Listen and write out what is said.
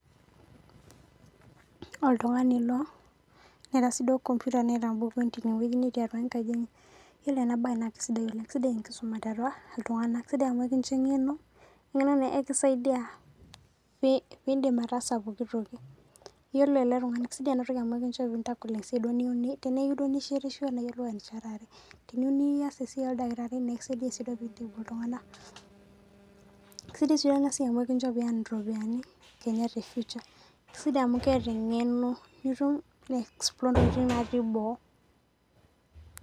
Oltung'ani ilo, neata sii duo computer Teinewueji netii atua enkaji enye, ore ena bae naa sidai oleng'. Sidai enkisuma Iltung'ana, sidai amu kincho eng'eno , eng'eno naa ekisaidia, pee indim ataasa pookitoki. Iyiolo ele tung'ani, sidai ena siai amu kincho pee intagol esiai duo nyiou teneyiou duo nishetisho niruu enchetare, teneyiou nias esiai oldakitari nekisaidia duo peintibu iltung'ana. Sidai sii duo ena siai amu kincho pee ienrol iropiani Kenya te future. Sidai amu keata eng'eno nitumie aiexplore intokitin natii boo.